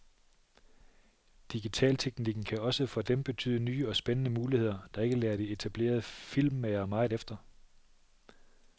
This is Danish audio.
Digitalteknikken kan også for dem betyde nye og spændende muligheder, der ikke lader de etablerede filmmagere meget efter.